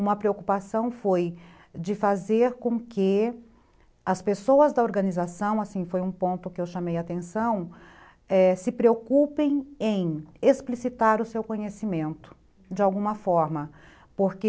uma preocupação foi de fazer com que as pessoas da organização, assim foi um ponto que eu chamei a atenção, se preocupem em explicitar o seu conhecimento de alguma forma, porque